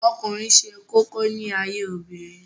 Ọkùnrin ṣe kókó láyé obìnrin